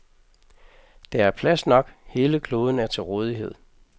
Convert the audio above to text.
Der er plads nok, hele kloden er til rådighed.